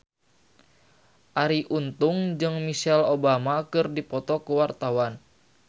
Arie Untung jeung Michelle Obama keur dipoto ku wartawan